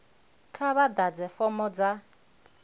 kha vha ḓadze fomo dza